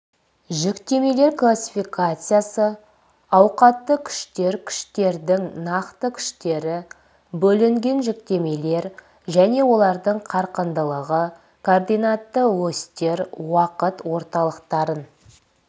жүктемелер классификациясы ауқатты күштер күштердің нақты күштері бөлінген жүктемелер және олардың қарқындылығы координатты осьтер уақыт орталықтарын